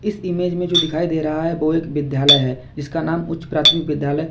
इस इमेज में जो दिखाई दे रहा है वो एक विद्यालय है इसका नाम उच्च प्राथमिक विद्यालय--